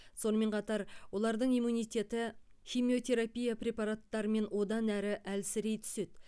сонымен қатар олардың иммунитеті химиотерапия препараттарымен одан әрі әлсірей түседі